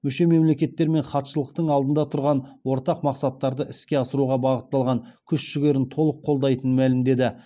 мүше мемлекеттер мен хатшылықтың алдында тұрған ортақ мақсаттарды іске асыруға бағытталған күш жігерін толық қолдайтынын мәлімдеді